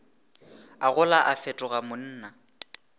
a gola a fetoga monna